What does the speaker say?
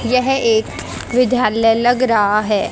यह एक विधालय लग रहा है।